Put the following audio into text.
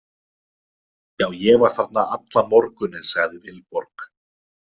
Já, ég var þarna allan morguninn, sagði Vilborg.